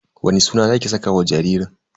Wani suna zaki saka wa jaririn?